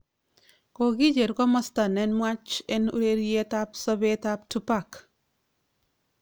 Kokicher komasta ne nuach en ureriet ab sobet ab Tupac